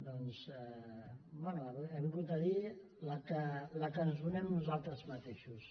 doncs bé ha vingut a dir la que ens donem nosaltres mateixos